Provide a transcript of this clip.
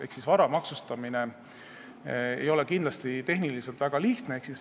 Ehk vara maksustamine ei ole kindlasti tehniliselt väga lihtne.